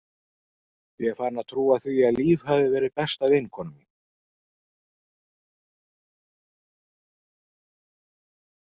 Ég er farin að trúa því að Líf hafi verið besta vinkona mín.